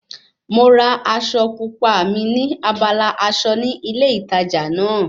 Mo ra aṣọ pupa mi ní abala aṣọ ní ilé ìtajà náà